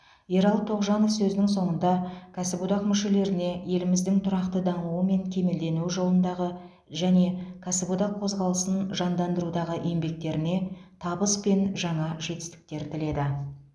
ералы тоғжанов сөзінің соңында кәсіподақ мүшелеріне еліміздің тұрақты дамуы мен кемелденуі жолындағы және кәсіподақ қозғалысын жандандырудағы еңбектеріне табыс пен жаңа жетістіктер тіледі